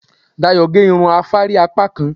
Dayọ̀ gé irun afárí apákan